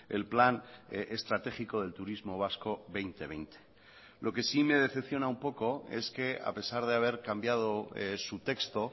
el plan estratégico del turismo vasco dos mil veinte lo que sí me decepciona un poco es que a pesar de haber cambiado su texto